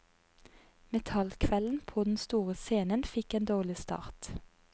Metallkvelden på den store scenen fikk en dårlig start.